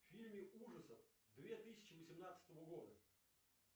фильмы ужасов две тысячи восемнадцатого года